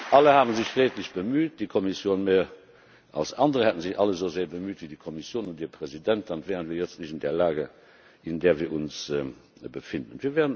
Alle haben sich redlich bemüht, die Kommission mehr als andere. Hätten sich alle so sehr bemüht wie die Kommission und ihr Präsident, dann wären wir jetzt nicht in der Lage, in der wir uns befinden.